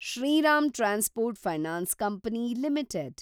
Shriram transport finance company limited